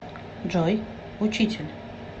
джой учитель